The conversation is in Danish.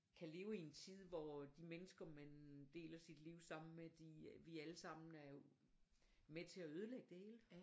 Kan leve i en tid hvor de mennesker man deler sit liv sammen med de øh vi alle sammen er jo med til at ødelægge det hele